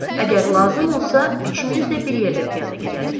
Əgər lazım olsa, üçümüz də bir yerdə piyada gedərik.